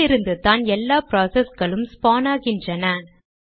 இதிலிருந்துதான் எல்லா ப்ராசஸ்களும் ஸ்பான் ஆகின்றன